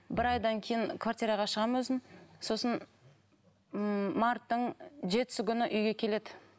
бір айдан кейін квартираға шығамын өзім сосын ммм марттың жетісі күні үйге келеді